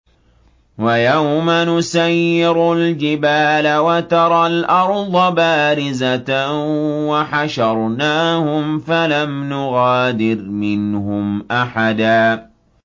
وَيَوْمَ نُسَيِّرُ الْجِبَالَ وَتَرَى الْأَرْضَ بَارِزَةً وَحَشَرْنَاهُمْ فَلَمْ نُغَادِرْ مِنْهُمْ أَحَدًا